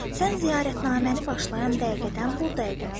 Sən ziyarətnaməni başlayan dəqiqədən buradaydın.